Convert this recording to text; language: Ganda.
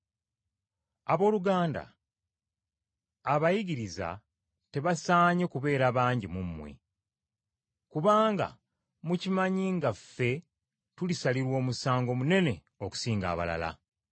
Abooluganda, abayigiriza tebasaanye kubeera bangi mu mmwe, kubanga mukimanyi nga ffe tulisalirwa omusango munene okusinga abalala.